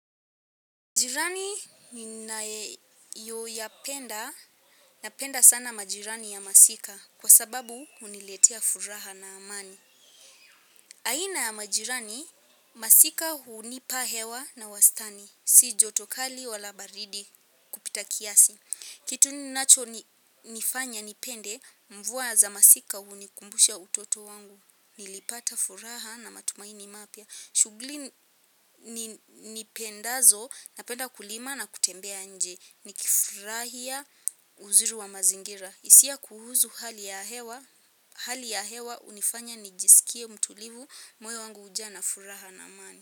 Jirani ninayoyapenda, napenda sana majirani ya masika kwa sababu huniletea furaha na amani. Aina ya majirani, masika hunipa hewa na wastani, si joto kali wala baridi kupita kiasi. Kitu ninachonifanya nipende mvua za masika hunikumbusha utoto wangu, nilipata furaha na matumaini mapya. Shughuli nipendazo napenda kulima na kutembea nje nikifurahia uzuri wa mazingira hisia kuhusu hali ya hewa hali ya hewa hunifanya nijisikie mtulivu moyo wangu hujaa na furaha na amani.